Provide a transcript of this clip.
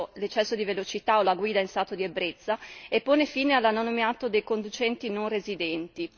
l'eccesso di velocità o la guida in stato di ebbrezza, e pone fine all'anonimato dei conducenti non residenti.